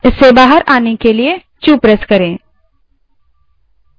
इससे बाहर आने के लिए क्यू q दबायें